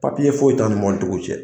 Papiye foyi t'an ni mobilitigiw cɛ